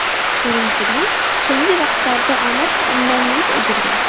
Ko‘rinishidan, so‘nggi vaqtlarda omad undan yuz o‘girgan.